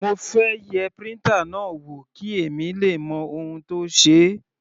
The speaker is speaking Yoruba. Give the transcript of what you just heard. Mo fẹ́ yẹ printer náà wò kí èmi le mọ ohun tó ṣe é.